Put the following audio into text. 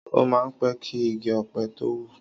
Ọ mà n pẹ̀ ki igi ọ̀pẹ̀ tó wú